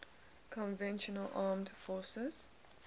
conventional armed forces